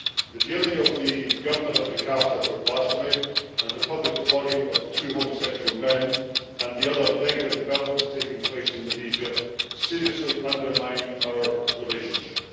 The jailing of the Governor of Jakarta for blasphemy, the public flogging of two homosexual men and the other negative developments taking place in Indonesia seriously undermine our relationship.